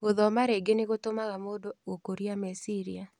Gũthoma rĩngĩ nĩgũtũmaga mũndũ gũkũria meciria.